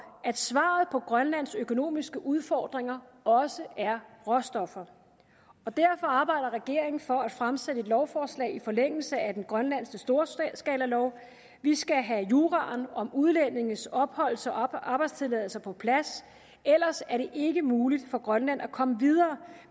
at svaret på grønlands økonomiske udfordringer også er råstoffer og derfor arbejder regeringen for at fremsætte et lovforslag i forlængelse af den grønlandske storskalalov vi skal have juraen om udlændinges opholds og arbejdstilladelser på plads ellers er det ikke muligt for grønland at komme videre